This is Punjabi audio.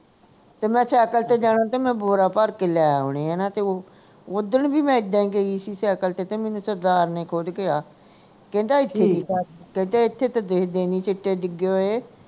ਤੇ ਮੈਂ ਸਾਈਕਲ ਤੇ ਜਾਣੇ ਤੇ ਮੈਂ ਬੋਰਾ ਭਰ ਕੇ ਲੈ ਆਉਣੇ ਹਣਾ ਤੇ ਉਹ ਓਦਣ ਵੀ ਮੈਂ ਇੱਦਾਂ ਹੀ ਗਈ ਸੀ ਸਾਈਕਲ ਤੇ ਤੇ ਮੈਨੂੰ ਸਰਦਾਰ ਨੇ ਖੁਦ ਕਿਹਾ ਕਹਿੰਦਾ ਕਹਿੰਦੇ ਐਥੇ ਤਾਂ ਸਿੱਟੇ ਡਿੱਗੇ ਹੋਏ